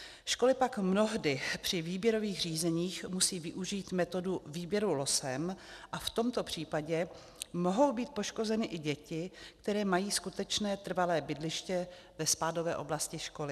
Školy pak mnohdy při výběrových řízeních musí využít metodu výběru losem a v tomto případě mohou být poškozeny i děti, které mají skutečné trvalé bydliště ve spádové oblasti školy.